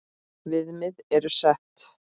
Viðmið eru sett.